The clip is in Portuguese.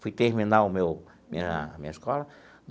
Fui terminar o meu minha minha escola.